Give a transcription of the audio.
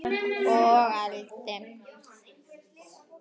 Og ældi.